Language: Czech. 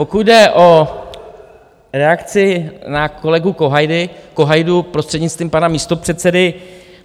Pokud jde o reakci na kolegu Kohajdu, prostřednictvím pana místopředsedy.